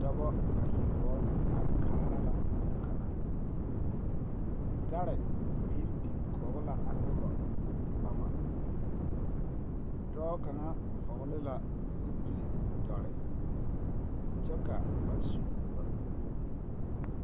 Tontonema la be a ba toma zie a toma banaŋ tona waa la meɛbo toma kyɛbee die meɛbo kyɛbee zimɛ yeltare ka a noba ŋa paa vɔgle vɔgle ba toma zupile kyɛ paa ɔŋna tɛne eŋna bonkaŋ ba naŋ maala.